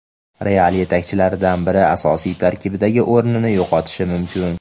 "Real" yetakchilaridan biri asosiy tarkibdagi o‘rnini yo‘qotishi mumkin.